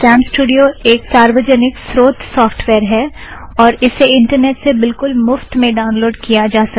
CamStudio एक सार्वजनिक स्रोथ सॉफ़्टवॅयर है और इसे इंटरनेट से बिलकुल मुफ़्त में ड़ाउनलोड़ किया जा सकता है